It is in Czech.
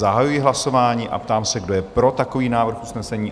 Zahajuji hlasování a ptám se, kdo je pro takový návrh usnesení?